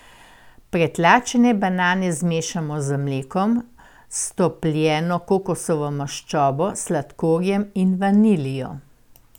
Pretlačene banane zmešamo z mlekom, stopljeno kokosovo maščobo, sladkorjem in vaniljo.